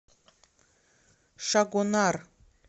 шагонар